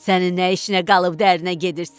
Sənin nə işinə qalıb dərinə gedirsən?